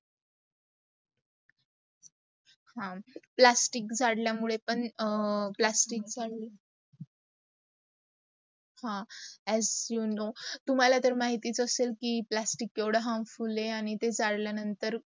plastic जडलया मुडे पण प्लास्टिच् चा हा as you know, तुम्हाला माहितीच असेल् की प्लास्टिक केवडा harmful आहे आणी ते झाडला नंतर